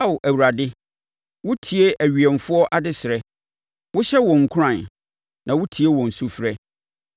Ao Awurade, wotie awiɛmfoɔ adesrɛ; wohyɛ wɔn nkuran, na wotie wɔn sufrɛ,